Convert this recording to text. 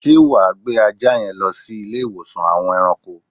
Sé wa gbé ajá yen lo sí Ilé iwosan àwon eranko?